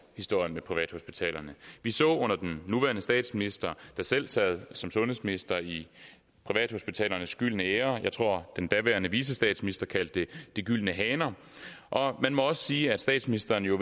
historien med privathospitalerne vi så det under den nuværende statsminister der selv sad som sundhedsminister i privathospitalernes gyldne æra jeg tror den daværende vicestatsminister kaldte det de gyldne haner og man må også sige at statsministeren jo